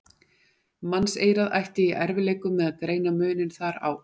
Mannseyrað ætti í erfiðleikum með að greina muninn þar á.